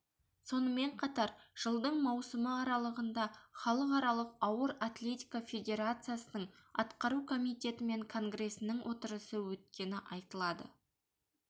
сонымен қатар жылдың маусымы аралығында халықаралық ауыр атлетика федерациясының атқару комитеті мен конгресінің отырысы өткені айтылады